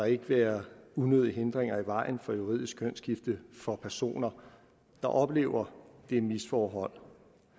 ikke bør være unødige hindringer i vejen for et juridisk kønsskifte for personer der oplever det misforhold